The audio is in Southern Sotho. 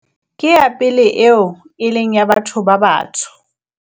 ke ya pele eo e leng ya batho ba batsho